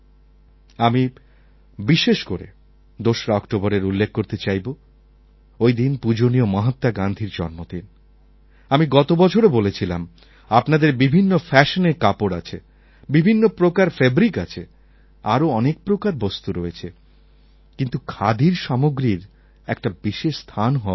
আমি বিশেষ করে ২রা অক্টোবরএর উল্লেখ করতে চাইবো ওইদিন পূজনীয় মহাত্মা গান্ধীর জন্মদিন আমি গত বছরও বলেছিলাম আপনাদের বিভিন্ন ফ্যাশনের কাপড় আছে বিভিন্ন প্রকার ফ্যাব্রিক আছে আরও অনেক প্রকার বস্তু রয়েছে কিন্তু খাদির সামগ্রীর একটা বিশেষ স্থান হওয়া উচিত